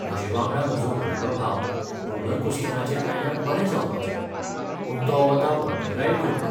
म्हजे वांगडा म्हजो व्हडलो भाव रोलर कोस्टराचेर आयल्यार बरें जावपाचें. पूण तो वता वॉटर रायड घेवपाक.